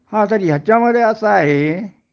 हा तर ह्याच्यामध्ये असं आहे